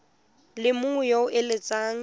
le mongwe yo o eletsang